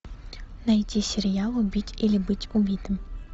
найти сериал убить или быть убитым